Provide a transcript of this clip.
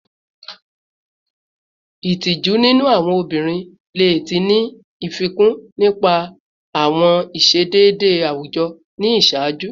Itoju ninu awọn obinrin le ti ni fikun nipasẹ awọn iṣedede awujọ ni iṣaaju